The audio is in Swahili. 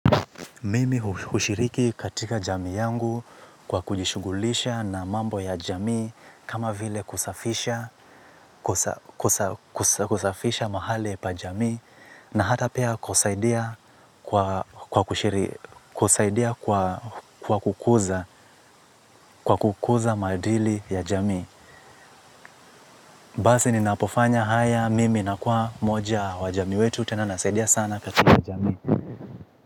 Mimi hushiriki katika jamii yangu kwa kujishughulisha na mambo ya jamii kama vile kushafisha kusafisha mahali pa jamii na hatapia kusaidia kwa kusaidia kwa kukuza maadili ya jamii. Basi ninapofanya haya mimi na kuwa moja wa jamii wetu, tena nasaidia sana katika jamii.